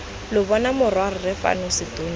lo bona morwarre fano setonti